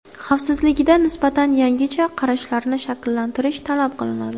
Xavfsizlikda nisbatan yangicha qarashlarni shakllantirish talab qilinadi.